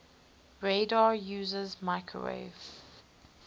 radar uses microwave